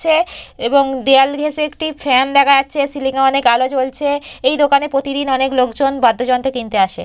দেখছে এবং দেওয়াল ঘেঁষে একটি ফ্যান দেখা যাচ্ছে সিলিংয়ে অনেক আলো জ্বলছে এই দোকানে প্রতিদিন অনেক লোকজন বাদ্যযন্ত্র কিনতে আসে।